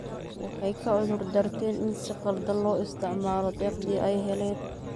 Waxay ka cudur daarteen in si khaldan loo isticmaalo deeqdii ay heleen.